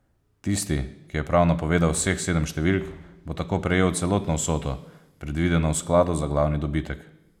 Tisti, ki je prav napovedal vseh sedem številk, bo tako prejel celotno vsoto, predvideno v skladu za glavni dobitek.